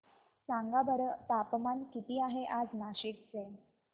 सांगा बरं तापमान किती आहे आज नाशिक चे